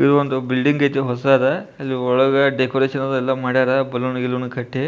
ಇದು ಒಂದು ಬಿಲ್ಡಿಂಗ್ ಇತಿ ಹೊಸದ ಒಳಗ ಡೆಕೋರೇಷನ್ ಎಲ್ಲಾ ಮಾದಾರ ಬಲೂನ್ ಗಿಲೋನ್ ಎಲ್ಲ ಕಟ್ಟಿ